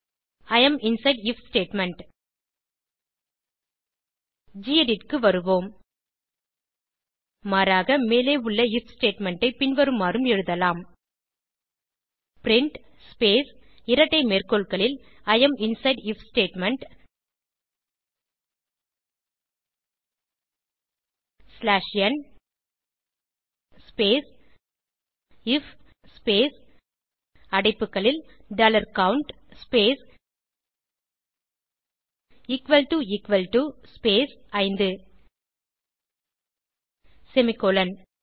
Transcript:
E am inside if statement கெடிட் க்கு வருவோம் மாறாக மேலே உள்ள ஐஎஃப் ஸ்டேட்மெண்ட் ஐ பின்வருமாறும் எழுதலாம் பிரின்ட் ஸ்பேஸ் இரட்டை மேற்கோள்களில் I am inside if statement slash n space if அடைப்புகளில் dollar count space equal to equal to space 5 semicolon